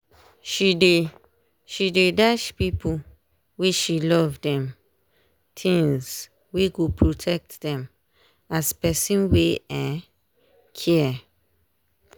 she dey she dey dash people wey she love dem tins wey go protect dem as person wey um care.